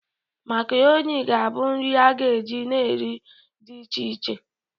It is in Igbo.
Macaroni ga-abụ nri a ga-eji na nri dị iche iche.